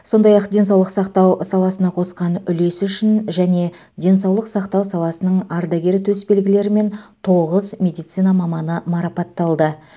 сондай ақ денсаулық сақтау саласына қосқан үлесі үшін және денсаулық сақтау саласының ардагері төсбелгілерімен тоғыз медицина маманы марапатталды